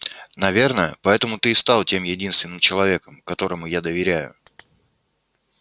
наверное поэтому ты и стал тем единственным человеком которому я доверяю